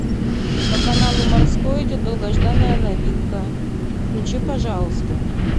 по каналу морской идет долгожданная новинка включи пожалуйста